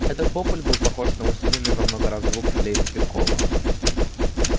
этот вопль был похож на усиленный во много раз звук флейты-пикколо